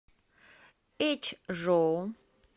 эчжоу